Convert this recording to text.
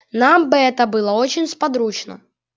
нам бы это было очень сподручно